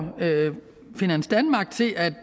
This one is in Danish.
finans danmark til at